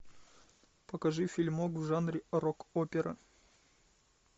покажи фильмок в жанре рок опера